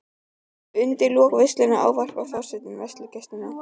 Undir lok veislunnar ávarpar forseti veislugesti.